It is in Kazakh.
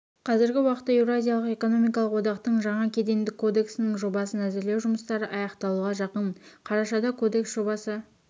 қазіргі уақытта еуразиялық экономикалық одақтың жаңа кедендік кодексінің жобасын әзірлеу жұмыстары аяқталуға жақын қарашада кодекс жобасы